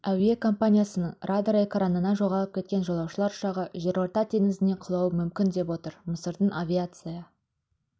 әуе компаниясының радар экранынан жоғалып кеткен жолаушылар ұшағы жерорта теңізіне құлауы мүмкін деп отыр мысырдың авиация